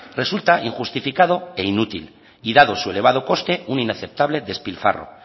resulta injustificado e inútil y dado su elevado coste una inaceptable despilfarro